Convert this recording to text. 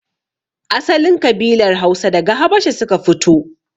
Asalin kabilar Hausa daga habasha suka fito